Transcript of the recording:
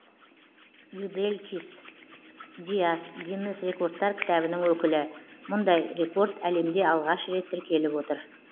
юделькис диас гиннес рекордтар кітабының өкілі мұндай рекорд әлемде алғаш рет тіркеліп отыр